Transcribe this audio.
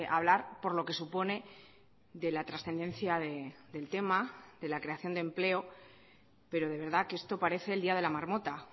hablar por lo que supone de la trascendencia del tema de la creación de empleo pero de verdad que esto parece el día de la marmota